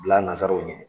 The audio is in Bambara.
Bila nanzaraw ye